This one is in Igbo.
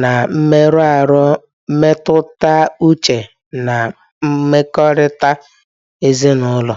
na mmerụ ahụ mmetụta uche na mmekọrịta ezinụlọ.